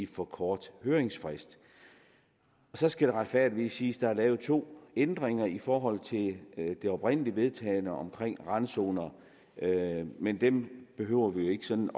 for kort høringsfrist så skal det retfærdigvis siges at der er lavet to ændringer i forhold til det oprindelig vedtagne omkring randzoner men dem behøver vi ikke sådan